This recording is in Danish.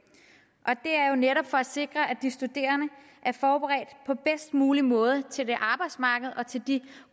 er jo netop for at sikre at de studerende er forberedt på bedst mulig måde til det arbejdsmarked og til de